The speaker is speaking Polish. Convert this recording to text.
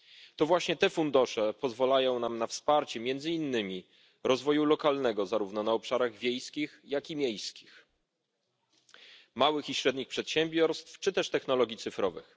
To właśnie te fundusze pozwalają nam na wsparcie między innymi rozwoju lokalnego zarówno na obszarach wiejskich, jak i miejskich, małych i średnich przedsiębiorstw czy też technologii cyfrowych.